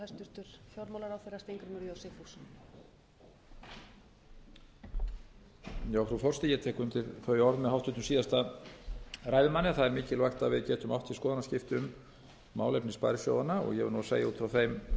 frú forseti ég tek undir þau orð með háttvirtum síðasta ræðumanni að það er mikilvægt að við getum átt í skoðanaskiptum um málefni sparisjóðanna ég verð nú að segja út frá þeim